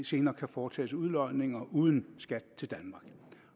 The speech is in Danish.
senere kan foretages udlodninger uden skat til danmark